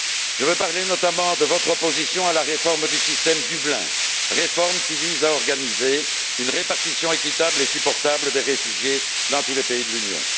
Je veux parler notamment de votre opposition à la réforme du système de Dublin, réforme qui vise à organiser une répartition équitable et supportable des réfugiés dans tous les pays de l'Union.